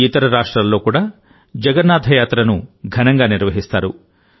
ఇతర రాష్ట్రాల్లో కూడా జగన్నాథ యాత్రను ఘనంగా నిర్వహిస్తారు